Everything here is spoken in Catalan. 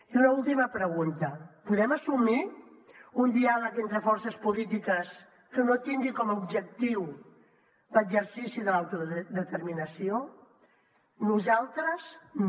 i una última pregunta podem assumir un diàleg entre forces polítiques que no tingui com a objectiu l’exercici de l’autodeterminació nosaltres no